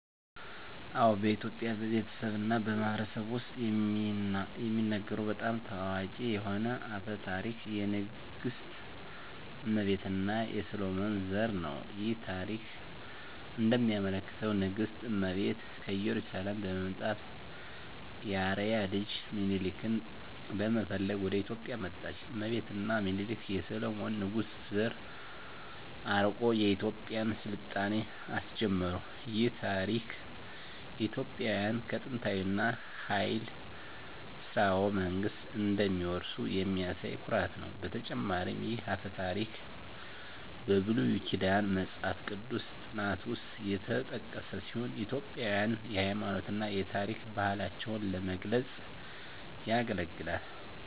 አዎ፣ በኢትዮጵያ ቤተሰብ እና ማህበረሰብ ውስጥ የሚነገሩ በጣም ታዋቂ የሆነ አፈ ታሪክ የንግሥት እመቤት እና የሰሎሞን ዘር ነው። ይህ ታሪክ እንደሚያመለክተው ንግሥት እመቤት ከኢየሩሳሌም በመምጣት የአርአያ ልጅ ሚኒሊክን ለመፈለግ ወደ ኢትዮጵያ መጣች። እመቤት እና ሚኒሊክ የሰሎሞን ንጉሥ ዘር አርቆ የኢትዮጵያን ሥልጣኔ አስጀመሩ። ይህ ታሪክ ኢትዮጵያውያን ከጥንታዊ እና ኃያል ሥርወ መንግሥት እንደሚወርሱ የሚያሳይ ኩራት ነው። በተጨማሪም ይህ አፈ ታሪክ በብሉይ ኪዳን መጽሐፍ ቅዱስ ጥናት ውስጥ የተጠቀሰ ሲሆን ኢትዮጵያውያንን የሃይማኖት እና የታሪክ ባህላቸውን ለመግለጽ ያገለግላል።